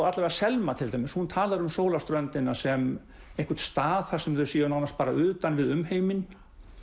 alla vega Selma til dæmis talar um sólarströndina sem einhvern stað þar sem þau séu nánast utan við umheiminn